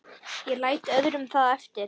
Ég læt öðrum það eftir.